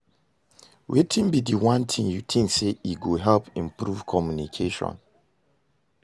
Wetin be di one thing you think say e go help improve communication?